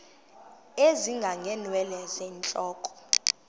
ezinga ngeenwele zentloko